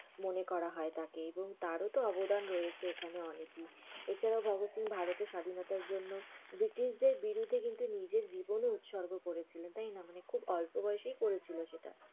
মনে করা হয় তাকে। এবং তারও তো অনেক অবধান রয়েছে অনেকই। এছাড়াও ভগৎ সিং ভারতের স্বাধীনতার জন্য ব্রিটিশদের বিরুদ্ধে কিন্তু নিজের জীবনও উতসর্গ করেছিলেন তাইনা? খু অল্প বয়সেই করেছিল সেটা।